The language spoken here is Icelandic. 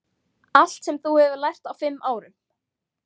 Allt sem þú hefur lært á fimm árum.